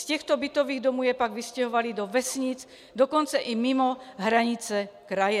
Z těchto bytových domů je pak vystěhovali do vesnic, dokonce i mimo hranice kraje.